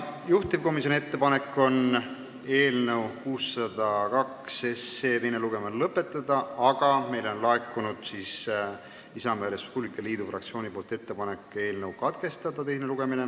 Juhtivkomisjoni ettepanek on eelnõu 602 teine lugemine lõpetada, aga meile on laekunud Isamaa ja Res Publica Liidu fraktsioonilt ettepanek eelnõu teine lugemine katkestada.